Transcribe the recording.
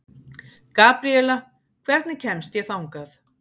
Gabriela, hvernig kemst ég þangað?